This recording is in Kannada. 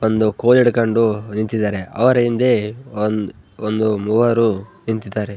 ತಂದು ಕೋಲು ಹಿಡ್ಕೊಂಡು ನಿಂತಿದ್ದಾರೆ ಅವರ ಹಿಂದೆ ಮೂವರು ನಿಂತಿದ್ದಾರೆ .